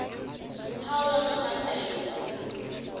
hao ya ho kganna e